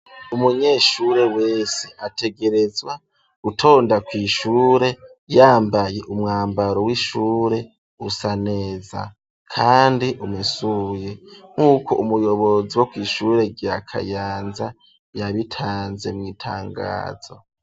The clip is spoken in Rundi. Umunyeshure wese ategerezwa gutonda kw'ishure yambaye umwambaro w'ishure usaneza kandi umesuye nkuko umuyobozi wo kw'ishure rya Kayanza yabitanze mw'itangazo.